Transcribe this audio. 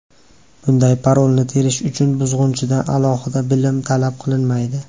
Bunday parolni terish uchun buzg‘unchidan alohida bilim talab qilinmaydi.